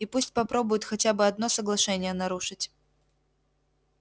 и пусть попробует хотя бы одно соглашение нарушить